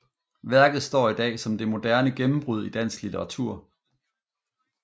Værket står i dag som det moderne gennembrud i dansk litteratur